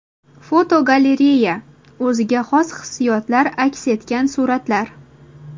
Fotogalereya: O‘ziga xos hissiyotlar aks etgan suratlar.